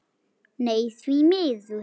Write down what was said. Nei, því miður.